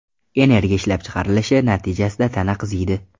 Energiya ishlab chiqrarilishi natijasida tana qiziydi.